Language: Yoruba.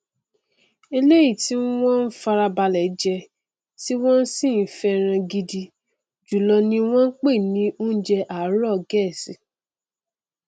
eléyìí tí wọn n farabalẹ jẹ tí wọn sì fẹràn gidi jùlọ ni wọn n pè ní ọúnjẹ àárọ gẹẹsì